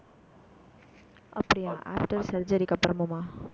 அப்படியா after surgery க்கு அப்புறமா